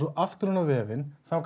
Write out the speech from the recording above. aftur inn á vefinn þar